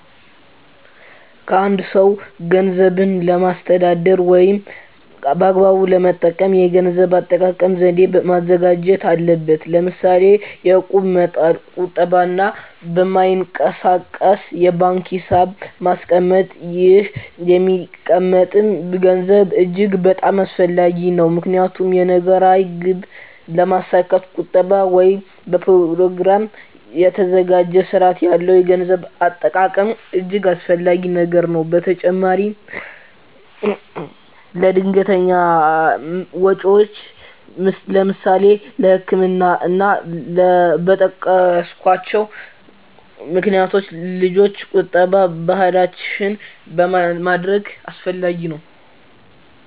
አ አንድ ሰው ገንዘብን ለማስተዳደር ወይም በአግባቡ ለመጠቀም የገንዘብ አጠቃቀም ዘዴ ማዘጋጀት አለበት ለምሳሌ የእቁብ መጣል ቁጠባ እና በማይንቀሳቀስ የባንክ ሒሳብ ማስቀመጥ ይህ የሚቀመጠም ገንዘብ እጅግ በጣም አስፈላጊ ነው ምክንያቱም የነገ ራዕይ ግብ ለማስካት ቁጠባ ወይም በኘሮግራም የታገዘ ስርአት ያለው የገንዘብ አጠቃቀም እጅገ አስፈላጊ ነገር ነው በተጨማራም ለድንገተኛ ወጨወች ለምሳሌ ለህክምና እና እና በጠቀስኮቸው ምክንያቶች ልጆች ቁጠባ ባህላችን ማድረግ አስፈላጊ ነው።